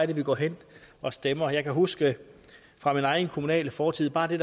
de går hen og stemmer jeg kan huske fra min egen kommunale fortid at bare det